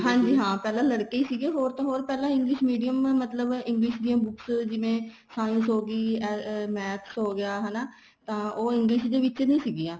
ਹਾਂਜੀ ਹਾਂ ਪਹਿਲਾਂ ਲੜਕੇ ਹੀ ਸੀਗੇ ਹੋਰ ਤਾਂ ਹੋਰ ਪਹਿਲਾਂ English Medium ਮਤਲਬ English ਦੀਆਂ books ਜਿਵੇਂ science ਹੋਗੀ maths ਹੋ ਗਿਆ ਹਨਾ ਤਾਂ ਉਹ English ਦੇ ਵਿੱਚ ਨਹੀਂ ਸੀਗੀਆਂ